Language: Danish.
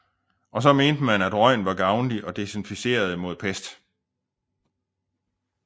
Og så mente man at røgen var gavnlig og desinficerende mod pest